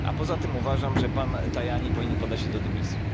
A poza tym uważam, że pan Tajani powinien podać się do dymisji.